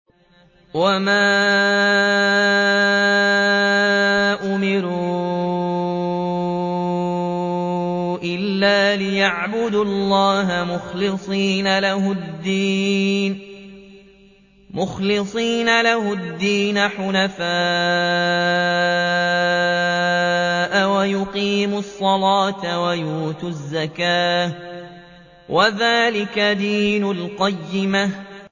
وَمَا أُمِرُوا إِلَّا لِيَعْبُدُوا اللَّهَ مُخْلِصِينَ لَهُ الدِّينَ حُنَفَاءَ وَيُقِيمُوا الصَّلَاةَ وَيُؤْتُوا الزَّكَاةَ ۚ وَذَٰلِكَ دِينُ الْقَيِّمَةِ